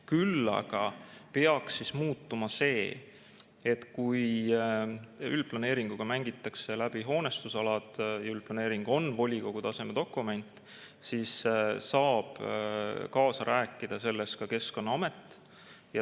Küll aga peaks muutuma see, et kui üldplaneeringuga mängitakse läbi hoonestusalad ja üldplaneering on volikogu taseme dokument, siis saab selles kaasa rääkida ka Keskkonnaamet.